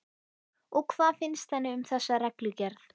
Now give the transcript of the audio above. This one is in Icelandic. Og hvað finnst henni um þessa reglugerð?